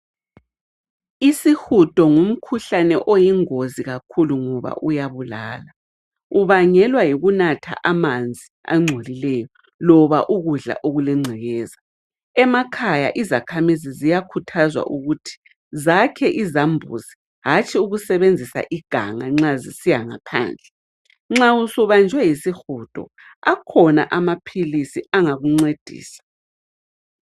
Isihudo ngumkhuhlane oyingozi kakhulu ngoba uyabulala, ubangelwa yikunatha amanzi angcolileyo loba ukudla okulengcekeza. Emakhaya izakhamizi ziyakhuthazwa ukuthi zakhe izambuzi hanthi ukusebenzisa iganga nxa zisiya ngaphandle. Nxa usubanjwe yisihudo akhona amaphilisi angakuncedisa.